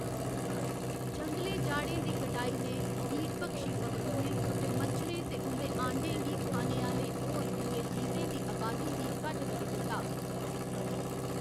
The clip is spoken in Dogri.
जंगलें जाड़ें दी कटाई ने कीटभक्षी पक्खरुएं ते मच्छरें ते उं'दे आंडें गी खाने आह्‌‌‌ले होर दुए जीवें दी अबादी गी घट्ट करी दित्ता।